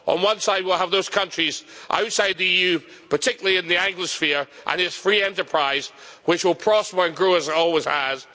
On one side we will have those countries outside the EU, particularly in the Anglosphere and its free enterprise, which will prosper and grow as it always has.